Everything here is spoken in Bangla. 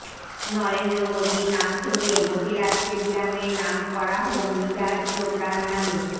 নরেন্দ্র মোদির নাম সরিয়ে মোতেরা স্টেডিয়াম এর নাম করা হোক নিরাজ চোপড়ার নামে